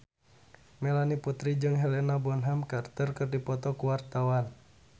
Melanie Putri jeung Helena Bonham Carter keur dipoto ku wartawan